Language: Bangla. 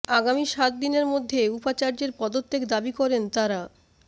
আগামী সাত দিনের মধ্যে উপাচার্যের পদত্যাগ দাবি করেন তারা